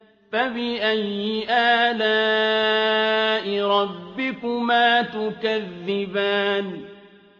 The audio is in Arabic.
فَبِأَيِّ آلَاءِ رَبِّكُمَا تُكَذِّبَانِ